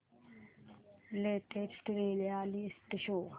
latest reality show